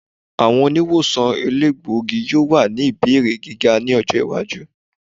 Awọn oniwosan elegbogi yoo wa ni ibeere giga ni ọjọ iwaju.